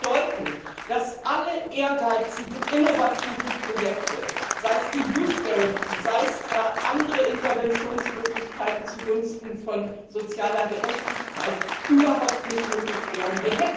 Das würde bedeuten, dass alle ehrgeizigen, innovativen Projekte, sei es die Youth Guarantee seien es andere Interventionsmöglichkeiten zugunsten von sozialer Gerechtigkeit, überhaupt nicht möglich wären.